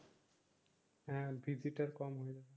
হ্যাঁ দিজিটা কম